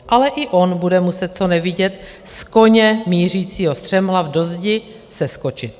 Ale i on bude muset co nevidět z koně mířícího střemhlav do zdi seskočit.